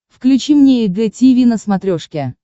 включи мне эг тиви на смотрешке